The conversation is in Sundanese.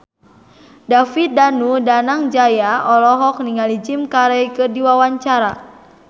David Danu Danangjaya olohok ningali Jim Carey keur diwawancara